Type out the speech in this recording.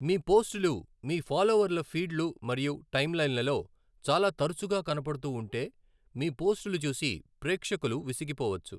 మీ పోస్టలు మీ ఫాలోవర్ల ఫీడ్లు మరియు టైమ్లైన్లలో చాలా తరచుగా కనపడుతూ ఉంటే, మీ పోస్టులు చూసి ప్రేక్షకులు విసిగిపోవచ్చు.